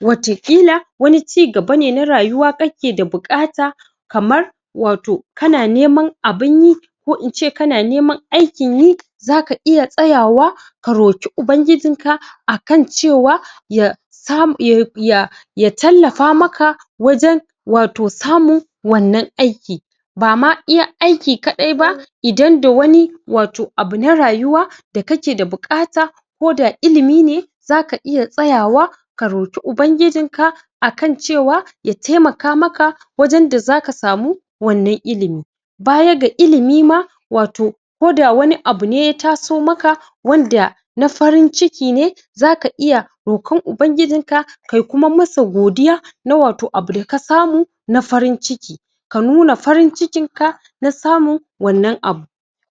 wata kila wani cigaba ne na rayuwa kake da bukata kamar wato kana neman abun yi ko ince kana neman aikin yi zaka iya tsayawa ka roki Ubangijinka akan cewa ya sam( ye ya) ya tallafa maka wajan wato samu wannan aiki bama iya aiki kadaiba idan da wani wato abu na rayuwa da kakeda bukata koda ilimi ne zaka iya tsayawa karoki Ubangijinka akan cewa ya taimaka maka wajanda zaka samu wannan ilimi baya ga ilimi ma wato koda wani abu ne ya taso maka wanda na farin ciki ne zaka iya rokon Ubangijinka kay kuma masa godiya na wato abu dakasamu na farin ciki ka nuna farin cikinka nasamun wannan abu